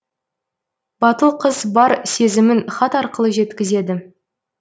батыл қыз бар сезімін хат арқылы жеткізеді